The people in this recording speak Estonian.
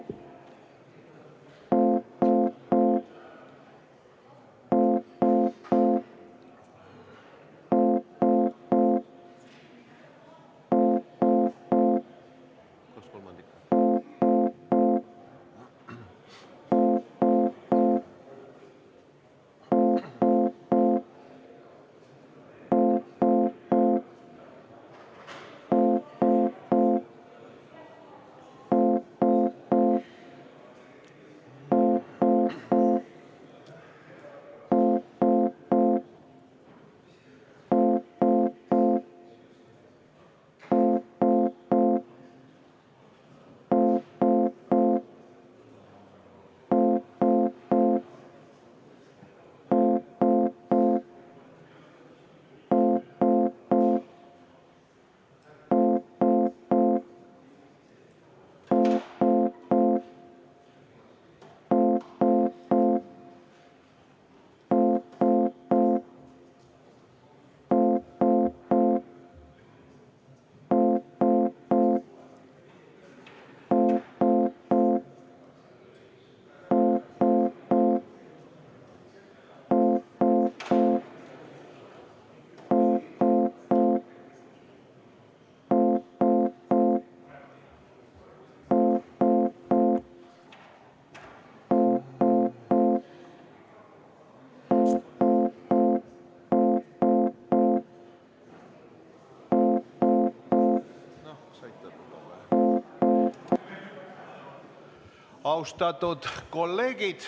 Austatud kolleegid!